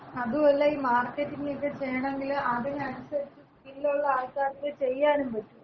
അതുവല്ല ഈ മാർക്കറ്റിംഗക്ക ചെയ്യണങ്കില് അതിനനുസരിച്ച് സ്കില്ലുള്ള ആൾക്കാർക്കെ ചെയ്യാനും പറ്റുള്ളു.